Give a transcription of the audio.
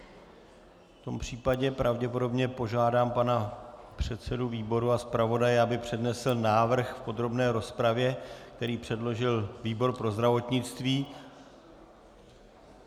V tom případě pravděpodobně požádám pana předsedu výboru a zpravodaje, aby přednesl návrh v podrobné rozpravě, který předložil výbor pro zdravotnictví.